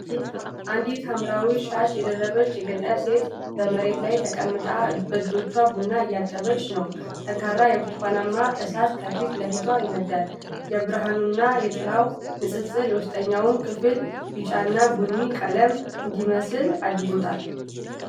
አንዲት ሐምራዊ ሻሽ የደረበች የገጠር ሴት መሬት ላይ ተቀምጣለች። በእጆቿ ቡና እያጠበች ነው፣ ጠንካራ የብርቱካናማ እሳት ከፊት ለፊቷ ይነዳል። የብርሃኑና የጥላው ንፅፅር የውስጠኛው ክፍል ቢጫና ቡኒ ቀለም እንዲመስል አድርጎታል።